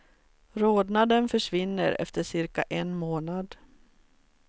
Rodnaden försvinner efter cirka en månad.